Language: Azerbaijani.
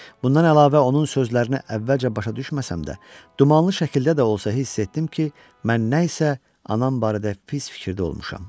Bundan əlavə onun sözlərini əvvəlcə başa düşməsəm də, dumanlı şəkildə də olsa hiss etdim ki, mən nə isə anam barədə pis fikirdə olmuşam.